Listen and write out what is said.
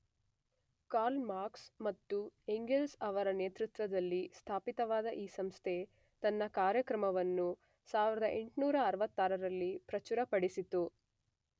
Karl Marx ಮತ್ತು Engels ಅವರ ನೇತೃತ್ವದಲ್ಲಿ ಸ್ಥಾಪಿತವಾದ ಈ ಸಂಸ್ಥೆ ತನ್ನ ಕಾರ್ಯಕ್ರಮವನ್ನು 1866ರಲ್ಲಿ ಪ್ರಚುರಪಡಿಸಿತು.